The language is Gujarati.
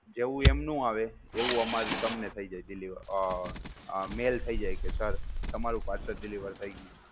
જેવુ એમનું આવે એવું અમારું તમને થઈ જાય deliver અ mail થઈ જાય કે sir, તમારુ parcel deliver થઈ ગયું છે.